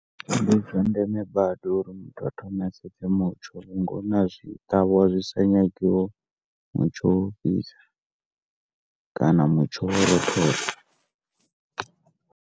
Ndizwa ndembe badi uri muthu a thome a sedze mutsho uri mutsho wa u fhisa kana mutsho wa u rothola.